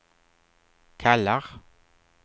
kallar